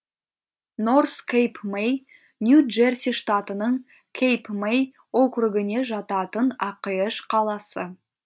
норс кэйп мэй нью джерси штатының кейп мэй округіне жататын ақш қаласы